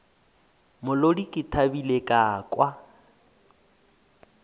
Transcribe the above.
molodi ke thabile ka kwa